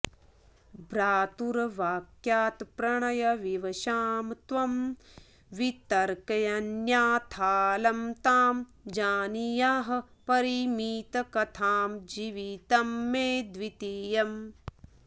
भ्रातुर्वाक्यात्प्रणयविवशां त्वं वितर्क्यान्याथाऽलं तां जानीयाः परिमितकथां जीवितं मे द्वितीयम्